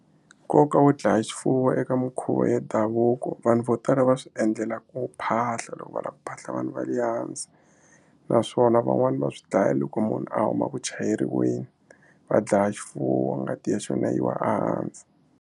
Nkoka wo dlaya swifuwo eka minkhuvo ya ndhavuko vanhu vo tala va swi endlela ku phahla loko va lava ku phahla vanhu va le hansi naswona van'wani va swi dlaya loko munhu a huma ku chayeriweni va dlaya xifuwo ngati ya xona yiwa ehansi.